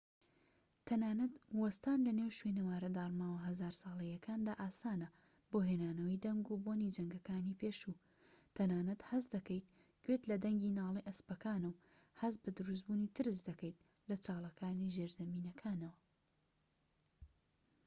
تەنانەت وەستان لەنێو شوێنەوارە داڕماوە هەزار ساڵەییەکاندا ئاسانە بۆ هێنانەوەی دەنگ و بۆنی جەنگەکانی پێشوو تەنانەت هەست دەکەیت گوێت لە دەنگی ناڵەی ئەسپەکانە و هەست بە دروستبوونی ترس دەکەیت لە چاڵەکانی ژێرزەمینەکانەوە